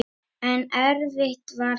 En erfitt var það.